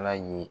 Ala ye